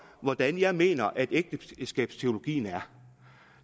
hvordan jeg mener ægteskabsteologien er